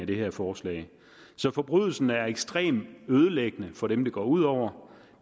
det her forslag forbrydelsen er ekstremt ødelæggende for dem det går ud over